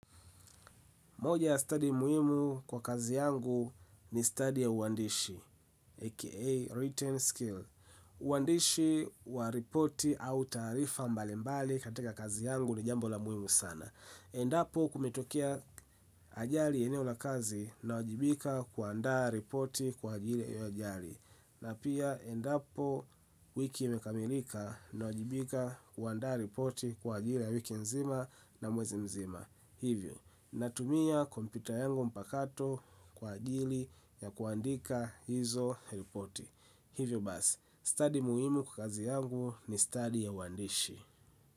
Moja ya study muhimu kwa kazi yangu ni study ya uandishi, aka written skill. Uandishi wa ripoti au taarifa mbalimbali katika kazi yangu ni jambo la muhimu sana. Endapo kumetokea ajali eneo la kazi nawajibika kuandaa ripoti kwa ajili ya hiyo ajali. Na pia endapo wiki imekamilika, nawajibima kuandaa ripoti kwa ajili ya wiki nzima na mwezi mzima hivyo, natumia kompyuta yangu mpakato kwa ajili ya kuandika hizo ripoti hivyo basi, study muhimu kwa kazi yangu ni study ya uandishi.